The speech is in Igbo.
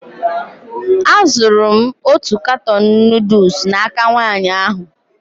Azụrụ m otu katọn nuduls n'aka nwaanyị ahụ.